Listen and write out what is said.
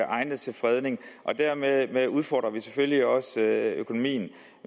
egnet til fredning og dermed udfordrer vi selvfølgelig også økonomien